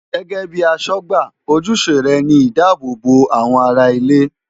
Gẹ́gẹ́ bíi aṣọ́gbà, ojúṣe rẹ̀ ni ìdáàbò bo àwọn ará ilé.